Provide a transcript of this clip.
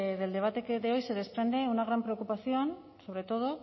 del debate de hoy se desprende una gran preocupación sobre todo